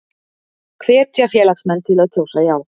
Hvetja félagsmenn til að kjósa já